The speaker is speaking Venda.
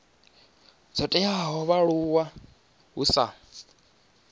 dzo teaho vhaaluwa hu sa